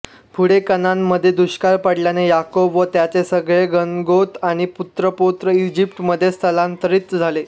पुढे कनानमध्ये दुष्काळ पडल्याने याकोब व त्याचे सगळे गणगोत आणि पुत्रपौत्र इजिप्तमध्ये स्थलांतरित झाले